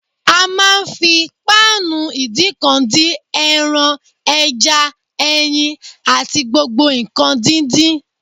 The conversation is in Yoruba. A máa ń fi páànù ìdíǹkan dín: ẹran, ẹja, ẹyin àti gbogbo nǹkan díndín